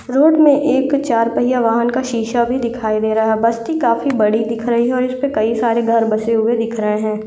Road में एक चार पहिया वाहन का सीसा भी दिखाई दे रहा है बस्ती काफी बड़ी दिख रही है और इसपे कई सारे घर बसे हुए दिख रहे हैं।